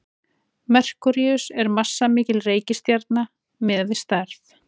merkúríus er massamikil reikistjarna miðað við stærð